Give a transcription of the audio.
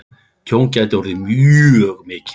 Tjón gæti orðið mjög mikið.